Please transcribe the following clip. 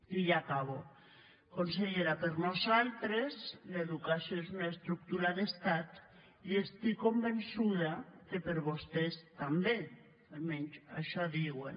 i ja acabo consellera per nosaltres l’educació és una estructura d’estat i estic convençuda que per vostès també almenys això diuen